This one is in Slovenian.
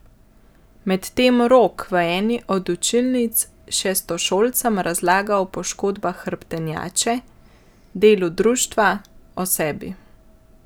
Medtem Rok v eni od učilnic šestošolcem razlaga o poškodbah hrbtenjače, delu društva, o sebi.